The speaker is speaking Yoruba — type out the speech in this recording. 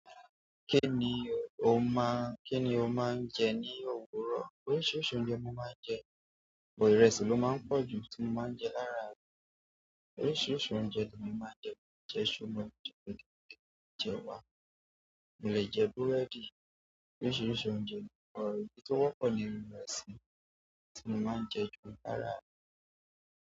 Kí ni o máa, kí ni o máa ń jẹ ní òwúrọ̀? Oríṣiríṣi oúnjẹ ni mo máa jẹ but ìrẹsì ni ó máa pọ̀ju tí mo máa jẹ láàárọ̀. Oríṣiríṣi oúnjẹ ni mà á jẹ, bí i iṣu, mo lè jẹ gbẹ̀gẹ̀rẹ̀, jẹ ẹwà, mo lè jẹ búrẹ́dì. Oríṣiríṣi oúnjẹ ni mo pa, but ohun tí ó wọ́pọ̀ ni irun ìrẹsì tí mo máa ń jẹ jù láráàrọ̀.